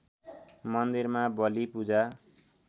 मन्दिरमा बली पूजा